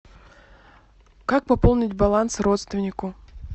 как пополнить баланс родственнику